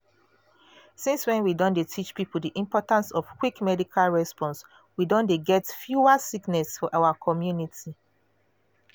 since when we don dey teach people di importance of quick medical response we don dey get fewer sickness for our community.